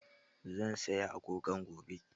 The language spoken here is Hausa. Zan saya agogo gobe